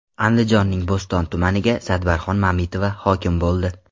Andijonning Bo‘ston tumaniga Sadbarxon Mamitova hokim bo‘ldi.